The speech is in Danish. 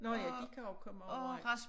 Nå ja de kan også komme overalt